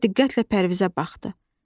Sonra diqqətlə Pərvizə baxdı.